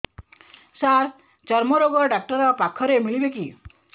ସାର ଚର୍ମରୋଗ ଡକ୍ଟର ପାଖରେ ମିଳିବେ କି